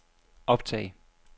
optag